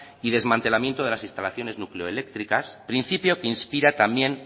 y desmantelamiento de las instalaciones nucleoeléctricas principio que inspira también